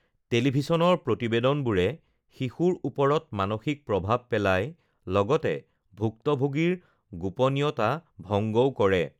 টেলিভিছনৰ প্ৰতিবেদনবোৰে শিশুৰ ওপৰত মানসিক প্ৰভাৱ পেলায়, লগতে ভুক্তভোগীৰ গোপনীয়তা ভঙ্গও কৰে